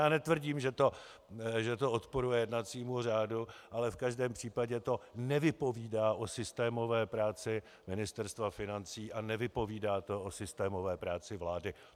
Já netvrdím, že to odporuje jednacímu řádu, ale v každém případě to nevypovídá o systémové práci Ministerstva financí a nevypovídá to o systémové práci vlády.